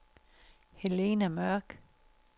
Helena Mørk